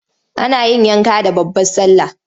Ana yin yanka da babbar sallah.